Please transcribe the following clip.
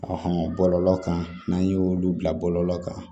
bɔlɔlɔ kan n'an y'olu bila bɔlɔlɔ kan